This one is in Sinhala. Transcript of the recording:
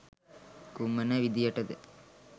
කුමන විධියට ද?